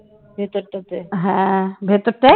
হ্যাঁ ভেতরটায়